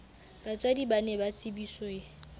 batswadi ba ne ba tsebiswe